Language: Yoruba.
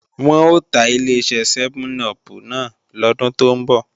Wọn ò ta Ileṣẹ́ sẹ́mẹ́n-upù náà lọ́dún tó ń bọ̀